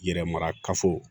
Yɛrɛ mara kafo